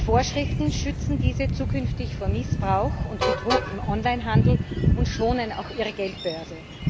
Die Vorschriften schützen diese zukünftig vor Missbrauch und Betrug im Onlinehandel und schonen auch ihre Geldbörse.